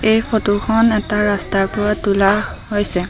এই ফটো খন এটা ৰাস্তাৰ পৰা তোলা হৈছে।